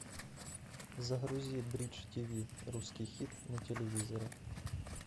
загрузи бридж тв русский хит на телевизоре